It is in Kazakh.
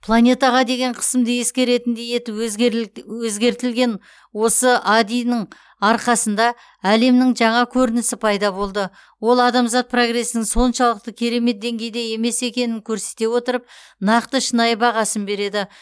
планетаға деген қысымды ескеретіндей етіп өзгеріл өзгертілген осы ади нің арқасында әлемнің жаңа көрінісі пайда болады ол адамзат прогресінің соншалықты керемет деңгейде емес екенін көрсете отырып нақты шынайы бағасын береді